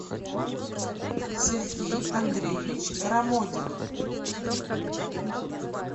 сергей андреевич рамодин